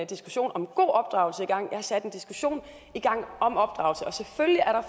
diskussion om god opdragelse i gang jeg har sat en diskussion i gang